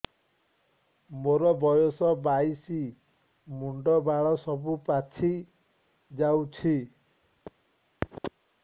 ମୋର ବୟସ ବାଇଶି ମୁଣ୍ଡ ବାଳ ସବୁ ପାଛି ଯାଉଛି